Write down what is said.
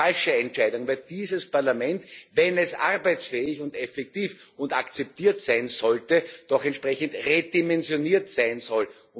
Eine falsche Entscheidung, weil dieses Parlament, wenn es arbeitsfähig und effektiv und akzeptiert sein sollte, doch entsprechend redimensioniert sein soll.